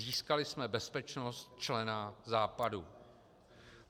Získali jsme bezpečnost člena Západu.